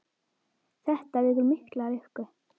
Þetta vekur mikla lukku.